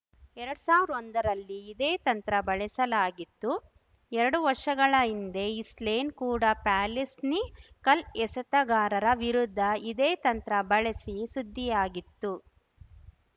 ಎರಡ್ ಸಾವಿರ ಒಂದರಲ್ಲಿ ಇದೇ ತಂತ್ರ ಬಳಸಲಾಗಿತ್ತು ಎರಡು ವರ್ಷಗಳ ಹಿಂದೆ ಇಸ್ಲೇನ್ ಕೂಡ ಪ್ಯಾಲೆಸ್ನಿ ಕಲ್ ಎಸೆತಗಾರರ ವಿರುದ್ಧ ಇದೇ ತಂತ್ರ ಬಳಸಿ ಸುದ್ದಿಯಾಗಿತ್ತು